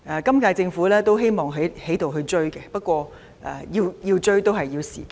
今屆政府也希望急起直追，不過也需要若干時間。